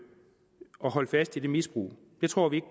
og holde fast i det misbrug det tror vi